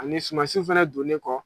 Ani sumansiw fana donnen kɔ